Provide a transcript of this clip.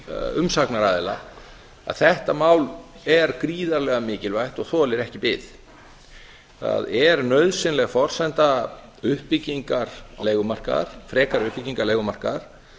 umsagnaraðila að þetta mál er gríðarlega mikilvægt og þolir ekki bið það er nauðsynleg forsenda frekari uppbyggingar leigumarkaðar